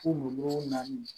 Kulukoro naani